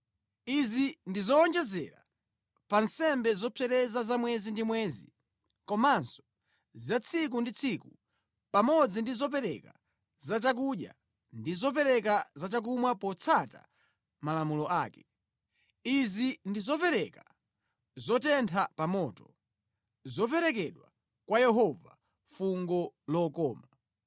Izi ndi zowonjezera pa nsembe zopsereza za mwezi ndi mwezi komanso za tsiku ndi tsiku pamodzi ndi zopereka za chakudya ndi zopereka za chakumwa potsata malamulo ake. Izi ndi zopereka zotentha pa moto, zoperekedwa kwa Yehova, fungo lokoma.